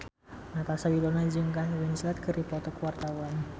Natasha Wilona jeung Kate Winslet keur dipoto ku wartawan